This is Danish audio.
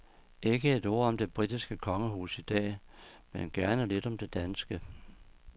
Ikke et ord om det britiske kongehus i dag, men gerne lidt om det danske.